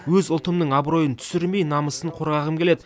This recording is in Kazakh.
өз ұлтымның абыройын түсірмей намысын қорғағым келеді